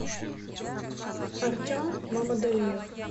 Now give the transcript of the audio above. артем мамадалиев